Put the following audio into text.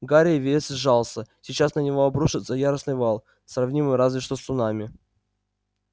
гарри весь сжался сейчас на него обрушится яростный вал сравнимый разве что с цунами